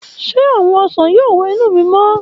Ṣe awọn osan yoo wẹ inu mi mọ?